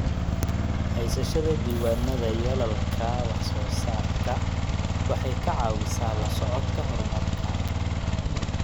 Haysashada diiwaannada yoolalka wax-soo-saarka waxay ka caawisaa la socodka horumarka.